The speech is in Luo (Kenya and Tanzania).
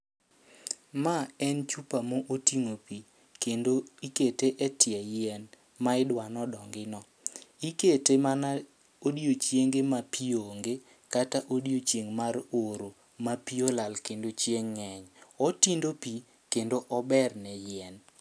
Ma en chupa mo oting'o pi, kendo ikete e tie yien ma idwano dongi no. ikete mana odhiechienge ma pi onge, kata odiochieng' mar oro ma pi olal kendo chieng' ng'eny. Otindo pi kendo ober ne yien.